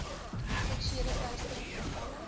seksuele teistering gevalle